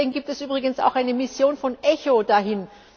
ist. Deswegen gibt es übrigens auch eine Mission von ECHO